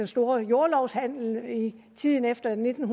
store jordlove i tiden efter nitten